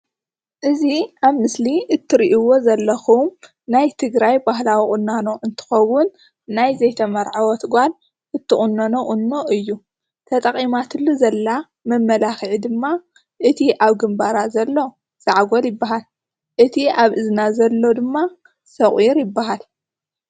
እዚ ኣብ ምስሊ እትሪእዎ ዘለኩን ናይ ትግራይ ባህላዊ ቁናኖ እንትከውን ናይ ዘይተመርዓወት ጓል እትቆነኖ ቁኖ እዩ፡፡ ተጠቂማትሉ ዘላ መመለኪዒ ድማ እቲ ኣብ ግምባራ ዘሎ ዛዕጎል ይባሃል እቲ ኣብ እዝና ዘሎ ድማ ሶቂር ይባሃል፡፡